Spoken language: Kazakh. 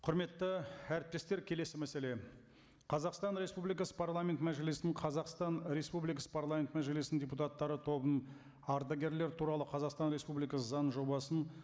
құрметті әріптестер келесі мәселе қазақстан республикасы парламент мәжілісінің қазақстан республикасы парламент мәжілісінің депутаттары тобының ардагерлер туралы қазақстан республикасы заңының жобасын